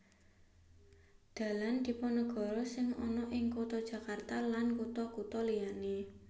Dalan Dipanegara sing ana ing kutha Jakarta lan kutha kutha liyané